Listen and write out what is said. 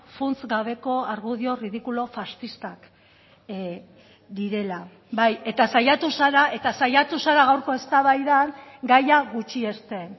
funts gabeko argudio ridikulo faxistak direla bai eta saiatu zara eta saiatu zara gaurko eztabaidan gaia gutxiesten